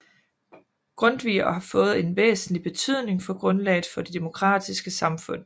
Grundtvig og har fået en væsentlig betydning for grundlaget for det demokratiske samfund